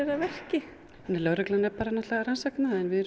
að verki lögreglan er náttúrulega að rannsaka það en við erum